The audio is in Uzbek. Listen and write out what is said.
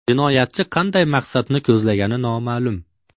Jinoyatchi qanday maqsadni ko‘zlagani noma’lum.